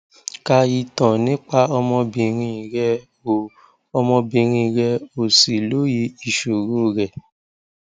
ka ìtàn nípa ọmọbìnrin rẹ o ọmọbìnrin rẹ o sì lóye ìṣòro rẹ